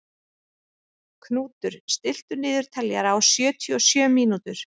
Knútur, stilltu niðurteljara á sjötíu og sjö mínútur.